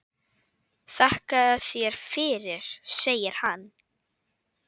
Þakka þér fyrir, segir hann.